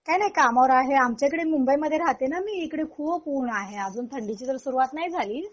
काही नाही कामावर आहे आमच्याकडे मुंबईमध्ये राहते ना मी इकडे खूप ऊन आहे अजून थंडीचीतर सुरुवात नाही झाली.